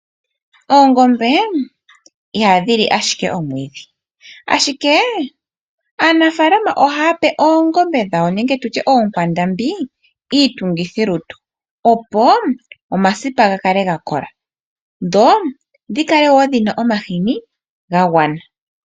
Oongombe ihadhi li ashike omwiidhi ashike aanafalama ohaya pe oongombe dhawo iitungithilutu opo omasipa gakale gakola dho dhikale woo dhina omashini gagwana.